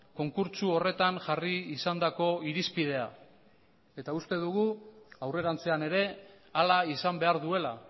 konkurtso horretan jarri izandako irizpidea eta uste dugu aurrerantzean ere hala izan behar duela